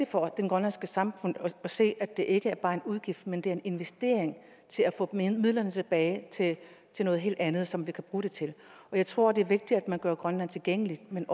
for det grønlandske samfund at se at det ikke bare er en udgift men at det er en investering til at få midlerne tilbage til noget helt andet som vi kan bruge det til jeg tror det er vigtigt at man gør grønland tilgængeligt men